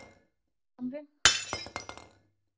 Þórshamri